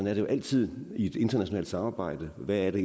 er det jo altid i et internationalt samarbejde hvad er det